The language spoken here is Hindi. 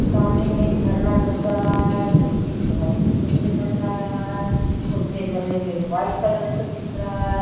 सामने में एक झरना नजर आ था है जोकि बहोत उपर से लग रहा है आ रहा है उसमे झरने में वाइट कलर का दिख रहा है।